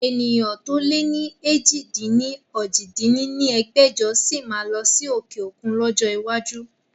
Ènìyàn to lè ni èjì-dín-ní-ojì dín ní ẹgbẹ́jọ sí máa lọ sí òkè òkun lọ́jọ́ iwájú